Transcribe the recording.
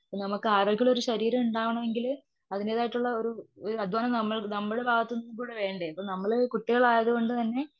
നമ്മക്ക് ആരോഗ്യമുള്ളൊരു ശരീരം ഉണ്ടാവണമെങ്കില് അതിന്റേതായിട്ടുള്ള ഒരു അദ്വാനം നമ്മൾ നമ്മൾ ഭാഗത്തു നിന്നുകൂടെ വേണ്ടേ? നമ്മൾ കുട്ടികൾ ആയതുകൊണ്ട് തന്നെ